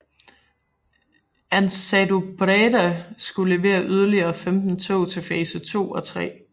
AnsaldoBreda skulle levere yderligere 15 tog til fase 2 og 3